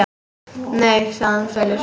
Nei, sagði hann fölur.